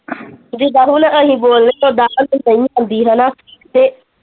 ਜੁਦਾ ਹੁਣ ਅਸੀਂ ਬੋਲਨੇ ਤੇ ਓਦਾਂ ਹੈਨਾ ਤੇ।